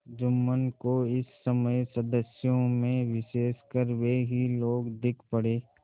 जुम्मन को इस समय सदस्यों में विशेषकर वे ही लोग दीख पड़े